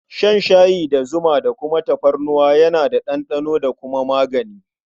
Shan shayi da zuma da kuma tafarnuwa yana da ɗanɗano da kuma magani.